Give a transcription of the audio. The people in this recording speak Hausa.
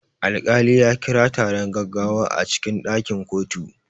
Alkali ya kira taron gaggawa a cikin ɗakin kotu.